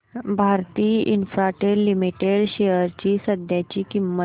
Bharti Infratel limited shares ची सध्याची किंमत